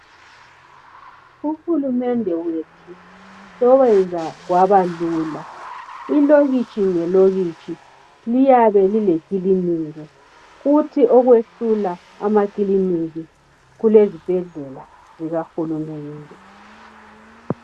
Uhurumende wethu sowayenza kwabalula. Ilokitshi le lokitshi kuyabe kulekilinika. Kuthi okwehlula amakiliniki kule zibhedlela zikahurumende.